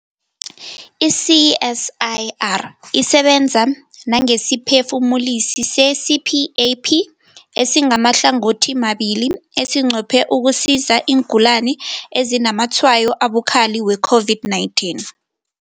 I-CSIR isebenza nangesiphefumulisi se-CPAP esimahlangothimabili esinqophe ukusiza iingulani ezinazamatshwayo abukhali we-COVID-19.